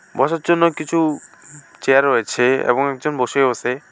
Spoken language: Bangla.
বসার জন্য কিছু চেয়ার রয়েছে এবং একজন বসেও আসে।